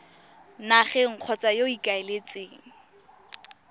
nageng kgotsa yo o ikaeletseng